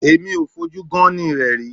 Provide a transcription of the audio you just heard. Èmi ò fojú gán-án-ní rẹ̀ rí.